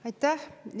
Aitäh!